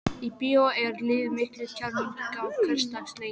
Á bíó er lífið miklu kjarnyrtara en hversdagsleikinn.